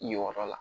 Yenyɔrɔ la